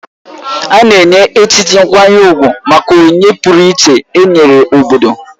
A na-enye echichi nkwanye ugwu maka onyinye pụrụiche e nyere obodo.